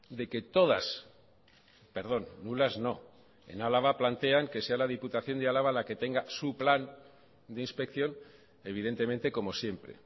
de que todas perdón nulas no en álava plantean que sea la diputación de álava la que tenga su plan de inspección evidentemente como siempre